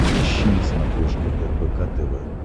ищи на смотрешке рбк тв